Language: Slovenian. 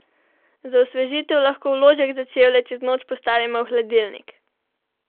Za osvežitev lahko vložek za čevlje čez noč postavimo v hladilnik!